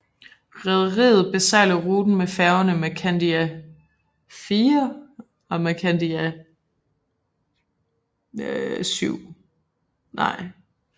Rederiet besejler ruten med færgerne Mercandia IV og Mercandia VIII